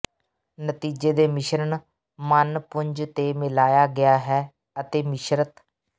ਨਤੀਜੇ ਦੇ ਮਿਸ਼ਰਣ ਮੰਨ ਪੁੰਜ ਤੇ ਮਿਲਾਇਆ ਗਿਆ ਹੈ ਅਤੇ ਮਿਸ਼ਰਤ